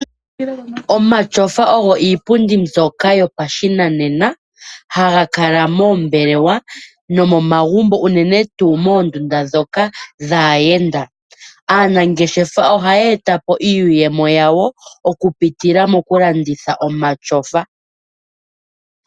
Omatyofa ogo iipundi mbyoka yopashinanena haga kala moombelewa nomomagumbo uunene tuu moondunda dhoka dhaayenda. Aanangeshefa ohaya etapo iiyemo yawo oku pitila moku landitha omatyofa.